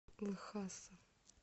лхаса